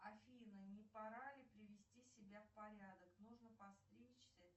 афина не пора ли привести себя в порядок нужно подстричься